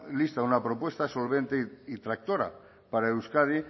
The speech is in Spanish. lista una propuesta solvente y tractora para euskadi